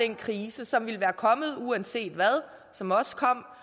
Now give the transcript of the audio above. den krise som ville være kommet uanset hvad og som også kom